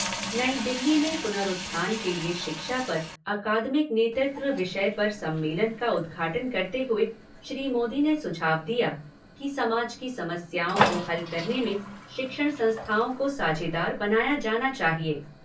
नई दिल्ली में पुनरुत्थान के लिए शिक्षा पर अकादमिक नेतृत्व विषय पर सम्मेलन का उद्घाटन करते हुए श्री मोदी ने सुझाव दिया कि समाज की समस्याओं को हल करने में शिक्षण संस्थाओं को साझीदार बनाया जाना चाहिए।